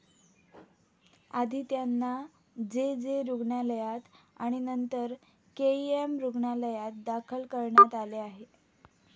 आधी त्यांना J. J. रुग्णालयात आणि नंतर केईएम रुग्णालयात दाखल करण्यात आले आहे.